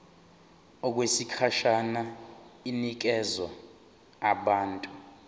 okwesikhashana inikezwa abantu